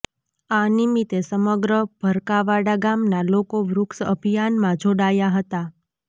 આ નિમિતે સમગ્ર ભરકાવાડા ગામના લોકો વૃક્ષ અભિયાનમાં જોડાયા હતા